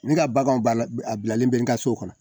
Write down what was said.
Ne ka baganw banna, a bilalen bɛ nka so kɔnɔ.